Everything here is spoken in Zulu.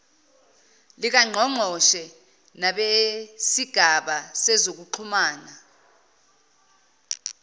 likangqongqoshe nabesigaba sezokuxhumana